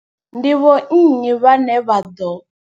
Ndi vho nnyi vhane vha ḓo.